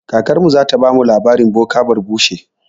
Kakarmu zata bamu labarin boka barbushe.